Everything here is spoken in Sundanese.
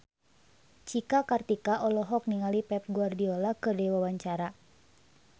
Cika Kartika olohok ningali Pep Guardiola keur diwawancara